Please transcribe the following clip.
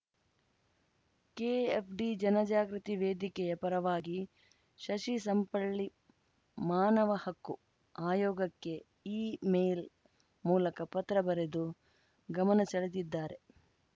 KFD ಜನಜಾಗೃತಿ ವೇದಿಕೆಯ ಪರವಾಗಿ ಶಶಿ ಸಂಪಳ್ಳಿ ಮಾನವ ಹಕ್ಕು ಆಯೋಗಕ್ಕೆ ಇ ಮೇಲ್‌ ಮೂಲಕ ಪತ್ರ ಬರೆದು ಗಮನ ಸೆಳೆದಿದ್ದಾರೆ